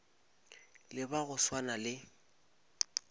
le ba go swana le